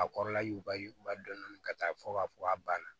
A kɔrɔla yuguba dɔɔni ka taa fɔ k'a fɔ a banna